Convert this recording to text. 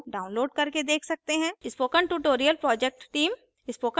spoken tutorial project team